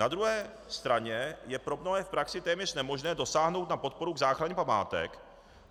Na druhé straně je pro mnohé v praxi téměř nemožné dosáhnout na podporu k záchraně památek,